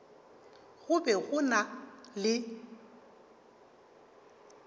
go be go na le